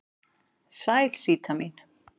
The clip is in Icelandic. Sæl Síta mín.